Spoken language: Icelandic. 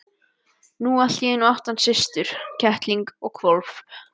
Nú allt í einu átti hann systur, kettling og hvolp.